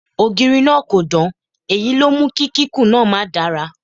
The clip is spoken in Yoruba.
Ògiri náà kò dán, èyí ló mú kí kíkún náà ma dára.